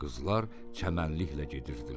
Qızlar çəmənliklə gedirdilər.